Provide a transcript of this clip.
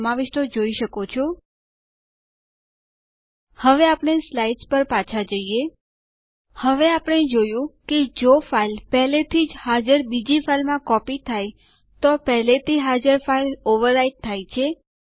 નોંધ લો કે ટર્મિનલ પહેલાંના યુઝર જે આ ઉદાહરણ માં ડક છે તેને નવા યુઝરમાં બદલાય જશે